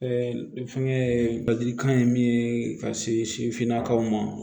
fɛnkɛ ladilikan ye min ye ka se sifinnakaw ma